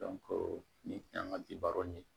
nin an ka di baro ɲini